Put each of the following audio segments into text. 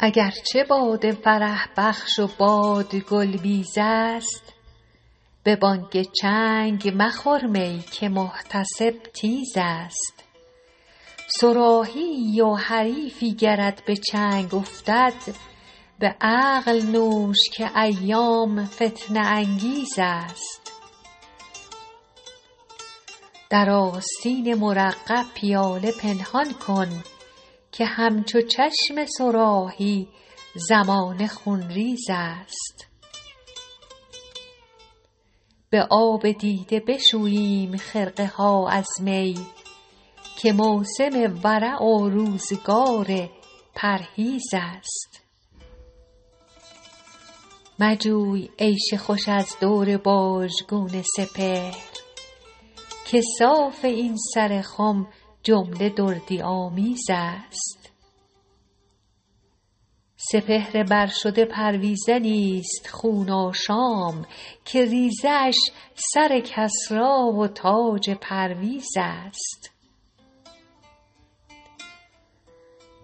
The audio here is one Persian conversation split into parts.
اگر چه باده فرح بخش و باد گل بیز است به بانگ چنگ مخور می که محتسب تیز است صراحی ای و حریفی گرت به چنگ افتد به عقل نوش که ایام فتنه انگیز است در آستین مرقع پیاله پنهان کن که همچو چشم صراحی زمانه خونریز است به آب دیده بشوییم خرقه ها از می که موسم ورع و روزگار پرهیز است مجوی عیش خوش از دور باژگون سپهر که صاف این سر خم جمله دردی آمیز است سپهر بر شده پرویزنی ست خون افشان که ریزه اش سر کسری و تاج پرویز است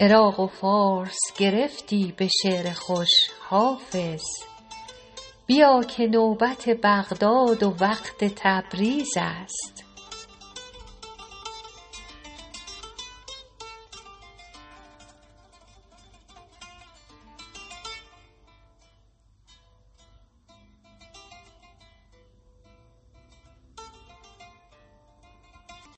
عراق و فارس گرفتی به شعر خوش حافظ بیا که نوبت بغداد و وقت تبریز است